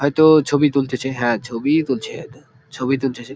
হয়তো-ও ছবি তুলতেছে হ্যাঁ ছবি তুলছে । ছবি তুলতেছে।